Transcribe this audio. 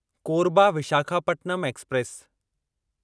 Korba Visakhapatnam express